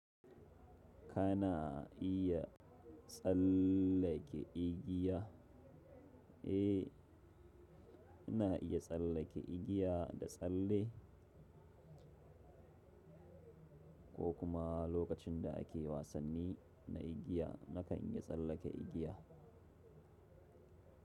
Kana iya tsallake igiya, eh ina iya tsallake igiya da tsalle ko kuma lokacin da ake wasanni na igiya nakan iya tsallake igiya.